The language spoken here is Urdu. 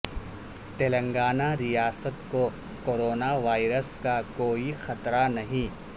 تلنگانہ ریاست کو کورونا وائرس کا کوئی خطرہ نہیں